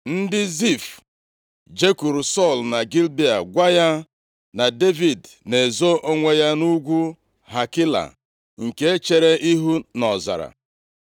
Ndị Zif jekwuru Sọl na Gibea gwa ya na Devid na-ezo onwe ya nʼugwu Hakila nke chere ihu nʼọzara.